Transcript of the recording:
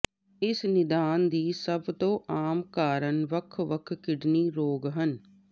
ਇਸ ਨਿਦਾਨ ਦੀ ਸਭ ਤੋਂ ਆਮ ਕਾਰਨ ਵੱਖ ਵੱਖ ਕਿਡਨੀ ਰੋਗ ਹਨ